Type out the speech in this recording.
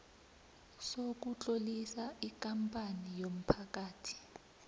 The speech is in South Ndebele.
sokutlolisa ikampani yomphakathi